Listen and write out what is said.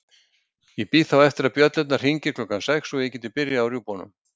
Ég bíð þá eftir að bjöllurnar hringi klukkan sex svo ég geti byrjað á rjúpunum.